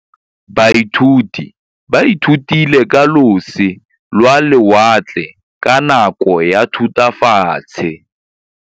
Baithuti ba ithutile ka losi lwa lewatle ka nako ya Thutafatshe.